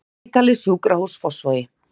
Landsspítali Sjúkrahús Fossvogi